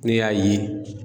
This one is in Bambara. Ne y'a ye.